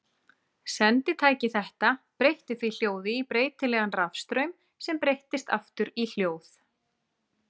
Senditæki þetta breytti því hljóði í breytilegan rafstraum sem breyttist aftur í hljóð.